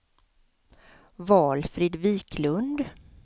Valfrid Viklund